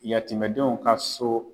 Yatimɛdenw ka so